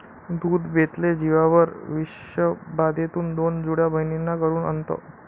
दूध बेतले जीवावर, विषबाधेतून दोन जुळ्या बहिणींना करूण अंत